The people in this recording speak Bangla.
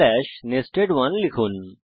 nested1 লিখুন